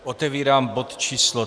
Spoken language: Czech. Otevírám bod číslo